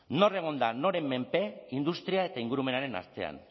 nor egon da noren menpe industria eta ingurumenaren artean